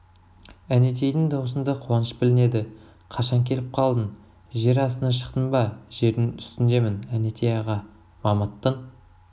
әнетейдің даусында қуаныш білінеді қашан келіп қалдың жер астынан шықтың ба жердің үстіндемін әнетей аға мамыттың